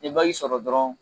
N ye sɔrɔ dɔrɔn